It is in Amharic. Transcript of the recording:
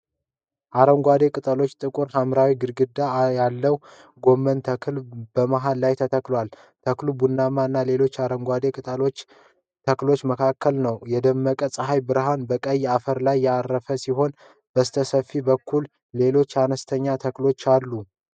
አረንጓዴ ቅጠሎችና ጥቁር ሐምራዊ ግንድ ያለው የጎመን ተክል በመሃል ላይ ተተክሏል። ተክሉ በቡና እና ሌሎች አረንጓዴ ቅጠላማ ተክሎች መካከል ነው። የደመቀው ፀሐይ ብርሃን በቀይ አፈር ላይ ያረፈ ሲሆን በስተፊት በኩል ሌሎች አነስተኛ ተክሎች ተንሰራፍተዋል።